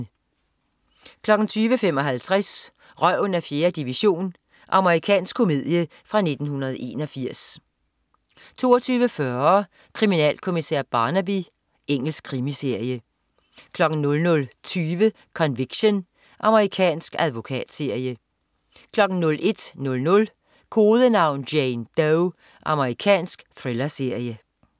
20.55 Røven af 4. division. Amerikansk komedie fra 1981 22.40 Kriminalkommissær Barnaby. Engelsk krimiserie 00.20 Conviction. Amerikansk advokatserie 01.00 Kodenavn: Jane Doe. Amerikansk thrillerserie